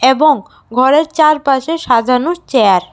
এবং ঘরের চারপাশে সাজানো চেয়ার --